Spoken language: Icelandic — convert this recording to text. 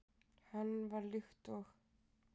Hann var líkt og